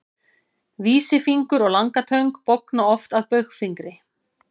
Vísifingur og langatöng bogna oft að baugfingri.